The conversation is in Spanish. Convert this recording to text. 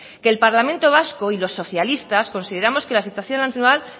que el parlamento vasco y los socialistas consideramos que la situación actual